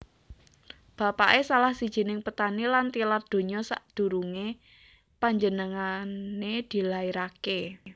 Bapaké salah sijining petani lan tilar donya sadurungé penjenengané dilairaké